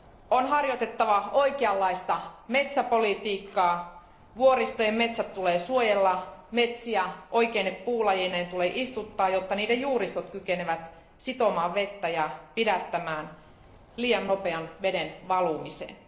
On harjoitettava oikeanlaista metsäpolitiikkaa, vuoristojen metsät tulee suojella, metsiä oikeine puulajeineen tulee istuttaa, jotta niiden juuristot kykenevät sitomaan vettä ja pidättämään liian nopean veden valumisen.